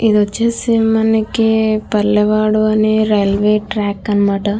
ఇది ఒచేసే మనకి పల్లెవాడు అని రైల్వే ట్రాక్ అన్నమాట.